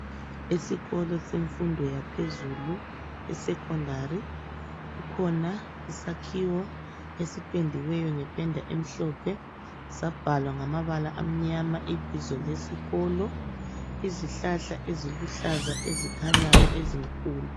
Esikolo semfundo yaphezulu, esecondary kukhona isakhiwo esipendiweyo ngependa emhlophe sabhalwa ngamabala amnyama ibizo lesikolo, izihlahla eziluhlaza ezikhanyayo ezinkulu.